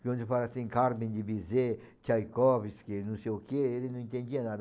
Quando eu falava assim, Carmen de Bizet, Tchaikovsky, não sei o quê, ele não entendia nada.